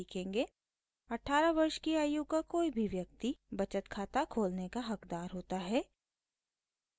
18 वर्ष की आयु का कोई भी व्यक्ति बचत खाता खोलने का हक़दार होता है